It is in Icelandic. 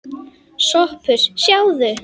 SOPHUS: Sjáðu!